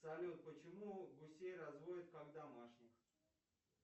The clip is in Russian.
салют почему гусей разводят как домашних